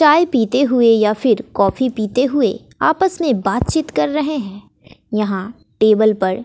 चाय पीते हुए या फिर कॉफी पीते हुए आपस में बातचीत कर रहे हैं यहां टेबल पर--